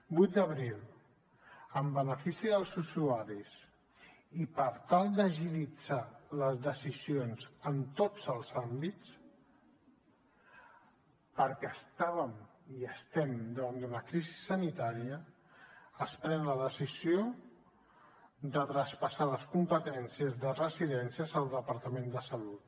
vuit d’abril en benefici dels usuaris i per tal d’agilitzar les decisions en tots els àmbits perquè estàvem i estem davant d’una crisi sanitària es pren la decisió de traspassar les competències de residències al departament de salut